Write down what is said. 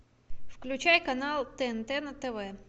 включай канал тнт на тв